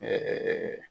Ɛɛ